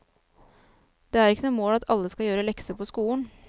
Det er ikke noe mål at alle skal gjøre lekser på skolen.